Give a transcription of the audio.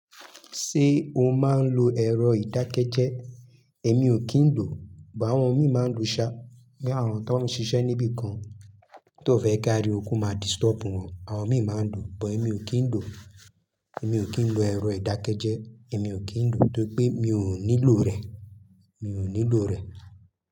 Ṣé o máa ń lo ẹ̀rọ ìdákẹ́jẹ́? Èmi ò kí ń lò, but àwọn mi máa ń lo ṣá, ní àwọn tó ń ṣiṣẹ́ níbi kan tó fẹ́ ká ariwo ko máa disturb wọn, àwọn mi máa ń lò, but èmi ò kí ń lò. Èmi ò kí ń lo ẹ̀rọ ìdákẹ́jẹ́, èmi ò kí ń lò torí pé mi ò nílò rẹ̀, mi ò nílò rẹ̀.